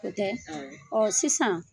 O tɛ ? Awɔ. Ɔɔ sisan